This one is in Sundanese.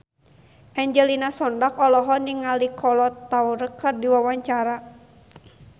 Angelina Sondakh olohok ningali Kolo Taure keur diwawancara